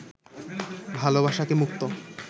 ভালোবাসাকে মুক্ত